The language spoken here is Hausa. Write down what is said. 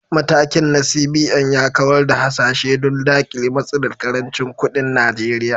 Matakin na CBN ya kawar da hasashe don dakile matsalar karancin kudin Najeriya.